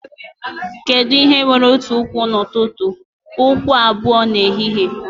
Kedu ihe nwere otu ụkwụ n'ụtụtụ, ụkwụ abụọ n'ehihie?